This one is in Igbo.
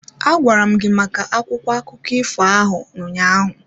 Agwara m gị maka akwụkwọ akụkọ ifo ahụ ụnyaahụ.